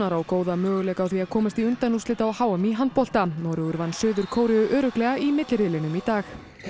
á góða möguleika á því að komast í undanúrslit á h m í handbolta Noregur vann Suður Kóreu örugglega í milliriðlinum í dag